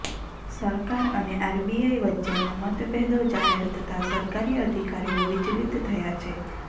સરકાર અને આરબીઆઈ વચ્ચેના મતભેદો જાહેર થતાં સરકારી અધિકારીઓ વિચલિત થયાં છે